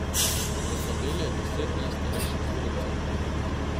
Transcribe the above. V tabeli je deset najstarejših strelcev.